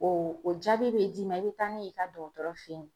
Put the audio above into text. O o jaabi be d'i ma i be taa n'o ye i ka dɔgɔtɔrɔ fe yen